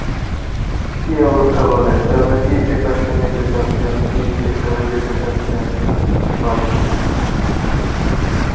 কী অবস্থা বলেন job এর কী preparation নিতে চাচ্ছেন, কী sector এ যেতে চাচ্ছেন, বলেন